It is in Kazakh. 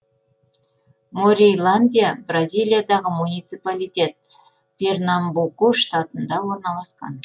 морейландия бразилиядағы муниципалитет пернамбуку штатында орналасқан